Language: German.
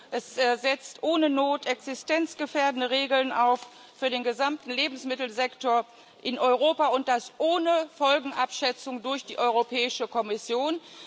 Es setzt ohne Not existenzgefährdende Regeln für den gesamten Lebensmittelsektor in Europa auf, und das ohne Folgenabschätzung durch die Europäische Kommission.